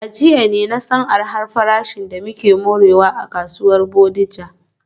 A jiya ne na san arha farashin da muke morewa a kasuwar Bodija.